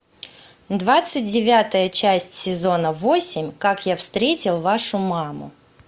двадцать девятая часть сезона восемь как я встретил вашу маму